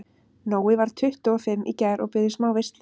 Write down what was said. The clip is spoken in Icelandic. Nói varð tuttugu og fimm í gær og bauð í smá veislu.